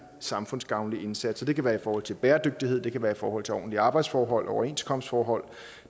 samfundsgavnlig indsats det kan være i forhold til bæredygtighed det kan være i forhold til ordentlige arbejdsforhold og overenskomstforhold